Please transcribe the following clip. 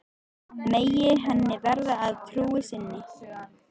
Megi henni verða að trú sinni.